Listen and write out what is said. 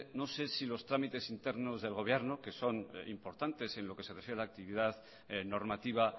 no sé si los trámites internos del gobierno que son importantes en lo que se refiere a la actividad normativa